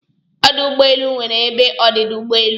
Ọdụ ụgbọelụ nwere ebe ọdịda ụgbọelụ